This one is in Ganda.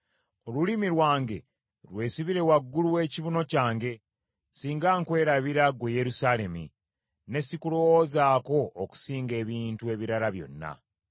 Olulimi lwange lwesibire waggulu w’ekibuno kyange singa nkwerabira, ggwe Yerusaalemi, ne sikulowoozaako okusinga ebintu ebirala byonna.